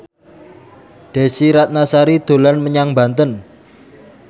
Desy Ratnasari dolan menyang Banten